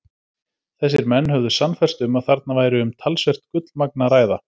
Þessir menn höfðu sannfærst um, að þarna væri um talsvert gullmagn að ræða.